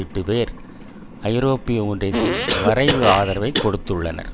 எட்டு பேர் ஐரோப்பிய ஒன்றியத்தின் வரைவு ஆதரவைக் கொடுத்துள்ளனர்